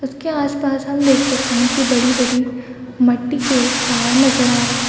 उसके आस-पास हम देख सकते है की बड़ी-बड़ी मटटी के पहाड़ नज़र आ रहे है।